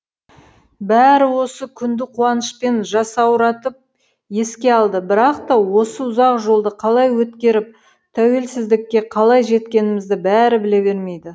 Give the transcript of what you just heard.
бәрі осы күнді қуанышпен жасауратып еске алды бірақ та осы ұзақ жолды қалай өткеріп тәуелсіздікке қалай жеткенімізді бәрі біле бермейді